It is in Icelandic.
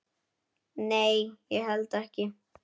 Nei, ég hélt ekki.